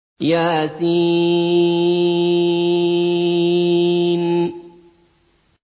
يس